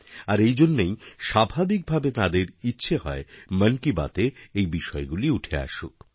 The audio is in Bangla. আর এইজন্যই স্বাভাবিক ভাবেই তাঁদের ইচ্ছেহয় মন কি বাতএ এই বিষয়গুলি উঠে আসুক